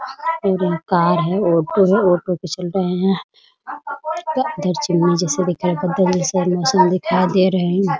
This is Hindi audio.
और एक कार है ऑटो है ऑटो पे चल रहे हैं दिखाई पड़ते हैं दिखाई दे रहे हैं ।